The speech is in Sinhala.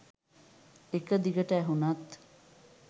එක දිගට ඇහුණත්